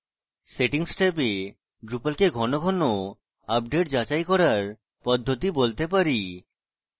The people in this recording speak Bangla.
settings ট্যাবে drupal কে on on আপডেট যাচাই করার পদ্ধতি বলতে পারি